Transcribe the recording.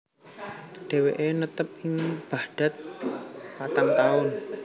Dheweke netep ing Baghdad patang taun